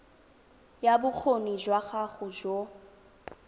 ya bokgoni jwa gago jo